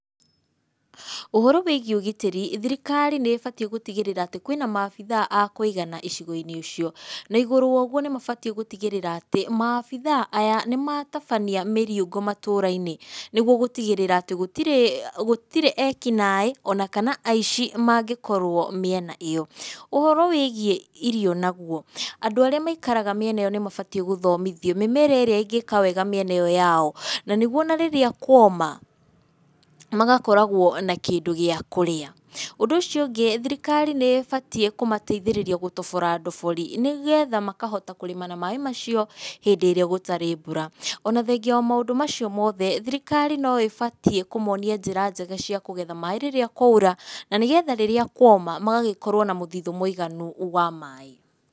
Ũhoro wĩgiĩ ũgitĩri, thirikari nĩ ĩbatiĩ gũtigĩrĩra atĩ, kwĩna maabitha a kũigana icigo-inĩ icio. Na igũrũ wa ũguo nĩ mabatiĩ gũtigĩrĩra atĩ, maabitha aya, nĩ matabania mĩriũngũ matũũra-inĩ, nĩguo gũtigĩrĩra atĩ, gũtirĩ gũtirĩ ekinaĩ, ona kana aici mangĩkorwo mĩena ĩyo. Ũhoro wĩgiĩ irio naguo, andũ arĩa maikaraga mĩena ĩyo nĩ mabatiĩ gũthomithio, mĩmera ĩrĩa ĩngĩka wega mĩena ĩyo yao, na nĩguo ona rĩrĩa kuoma, magakoragwo na kĩndũ gĩa kũrĩa. Ũndũ ũcio ũngĩ, thirikari nĩ ĩbatiĩ kũmateithĩrĩrio gũtobora ndobori. Nĩgetha makahota kũrĩma na maaĩ macio, hĩndĩ ĩrĩa gũtarĩ mbura. Ona thengia wa maũndũ macio mothe, thirikari no ĩbatiĩ kũmonia njĩra njega cia kũgetha maaĩ rĩrĩa kwaura, na nĩgetha rĩrĩa kuoma, magagĩkorwo na mũthithũ mũiganu wa maaĩ.